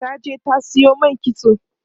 ta je ta Sayo man kitso